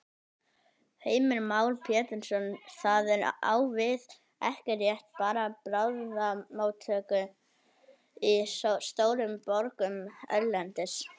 Heimir Már Pétursson: Það er á við, ekki rétt, bara bráðamóttöku í stórum borgum erlendis?